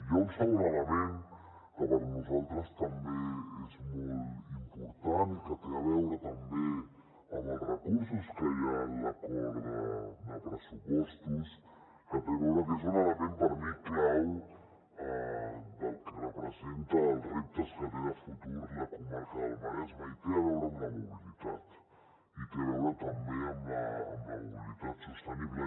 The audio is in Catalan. hi ha un segon element que per nosaltres també és molt important i que té a veure també amb els recursos que hi ha en l’acord de pressupostos que és un element per mi clau del que representa els reptes que té de futur la comarca del maresme i té a veure amb la mobilitat i té a veure també amb la mobilitat sostenible